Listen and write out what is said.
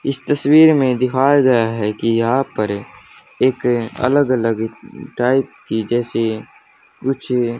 इस तस्वीर में दिखाया गया है की यहां पर एक अलग अलग टाइप की जैसे कुछ--